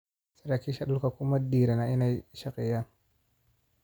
Saraakiisha dhulku kuma dhiirana inay shaqeeyaan.